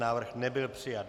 Návrh nebyl přijat.